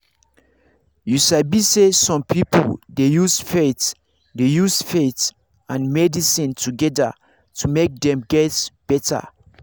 you sabi say some people dey use faith dey use faith and medicine together to make dem get better